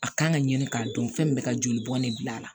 A kan ka ɲini k'a dɔn fɛn min bɛ ka joli bɔn ne bil'a la